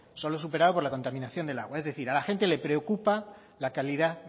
solo superado por la contaminación del agua es decir a la gente le preocupa la calidad